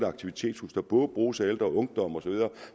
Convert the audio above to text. aktivitetshus der både bruges af ældre og unge